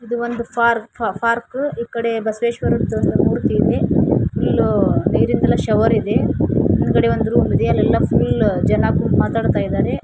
ಇದು ಒಂದು park park ಈ ಕಡೆ ಬಸವೇಶ್ವರ ಮೂರ್ತಿ ಇದೆ ಎಲ್ಲೋ ನೀರಿಲ್ಲ ಶವರ್ ಇದೆ ಮುಂದುಗಡೆ ಒಂದು ರೂಮ್ ಇದೆ ಅಲ್ಲೆಲ್ಲಾ ಫುಲ್ ಜನ ಕೂತು ಮಾತಾಡ್ತಾ ಇದ್ದಾರೆ.